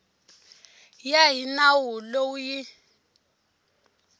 ya hi nawu lowu yi